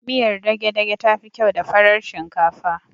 Miyar dage dage tafi kyau da farar shinkafa